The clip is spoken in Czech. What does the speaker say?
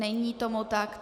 Není tomu tak.